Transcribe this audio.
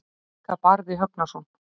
Líka Barði Högnason.